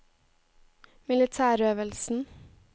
militærøvelsen